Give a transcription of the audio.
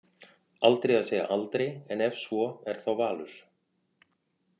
Aldrei að segja aldrei en ef svo er þá Valur.